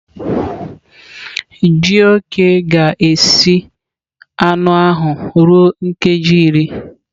Jioke ga-esi anụ ahụ ruo nkeji iri.